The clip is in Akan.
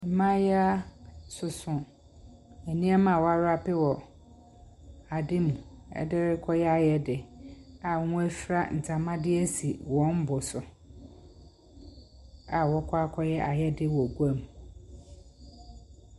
Mmayewa soso nneɛma a wɔarape wɔ ade mu ɛde rekɔyɛ ayɛde a wɔafira ntama de asi wɔn bo so a wɔrekɔ akɔyɛ ayɛde wɔ guam.